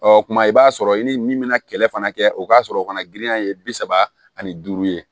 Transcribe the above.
Ɔ kuma i b'a sɔrɔ i ni min bɛna kɛlɛ fana kɛ o ka sɔrɔ o fana giriya ye bi saba ani duuru ye